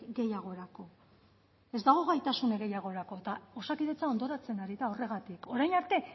gehiagorako ez dago gaitasun gehiagorako eta osakidetzan hondoratzen ari da horregatik orain arte